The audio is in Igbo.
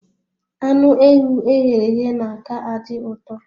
Anụ ewu e ghere eghe na-aka adị uto